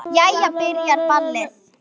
Jæja. byrjar ballið!